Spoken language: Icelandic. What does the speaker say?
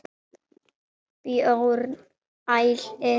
Björn hlær.